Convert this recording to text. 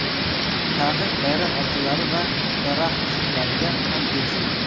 Taqiq bayram archalari va daraxt shohlariga ham tegishli.